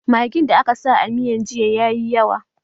Maggin da aka sa a miyan jiya ya yi yawa